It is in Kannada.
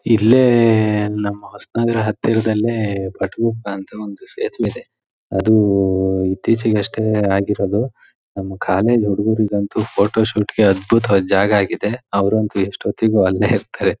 ಇಲ್ಲೇ ಏಏ ನಮ್ಮ ಹೊಸನಗರದ ಹತ್ತಿರದಲ್ಲೆ ಅಂತ ಒಂದು ಸೇತುವೆ ಇದೆ ಅದು ಊಊ ಇತ್ತೀಚ್ಚಿಗೆ ಅಷ್ಟೇ ಆಗಿರೋದು ನಮ್ಮ ಕಾಲೇಜ್ ಹುಡುಗರಿಗಂತೂ ಫೋಟೋ ಶೋಟ್ ಗೆ ಅದ್ಭುತವದ ಜಾಗ ಆಗಿದೆ ಅವರಂತೂ ಎಸ್ಟ್ ಹೊತ್ತಿಗೂ ಅಲ್ಲೇ ಇರ್ತ್ತರೆ.